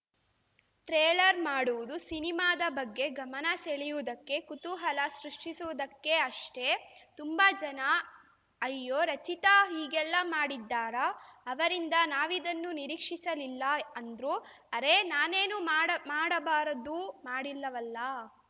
trailer ಮಾಡುವುದು ಸಿನಿಮಾದ ಬಗ್ಗೆ ಗಮನ ಸೆಳೆಯುವುದಕ್ಕೆ ಕುತೂಹಲ ಸೃಷ್ಟಿಸುವುದಕ್ಕೆ ಅಷ್ಟೇ ತುಂಬ ಜನ ಅಯ್ಯೋ ರಚಿತಾ ಹೀಗೆಲ್ಲ ಮಾಡಿದ್ದಾರಾ ಅವರಿಂದ ನಾವಿದನ್ನು ನಿರೀಕ್ಷಿಸಲಿಲ್ಲ ಅಂದ್ರು ಅರೇ ನಾನೇನು ಮಾಡ ಮಾಡಬಾರದ್ದು ಮಾಡಿಲ್ಲವಲ್ಲ